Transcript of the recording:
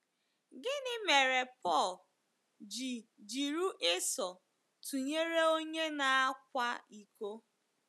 Gịnị mere Pọl ji jiri Esau tụnyere onye na-akwa iko?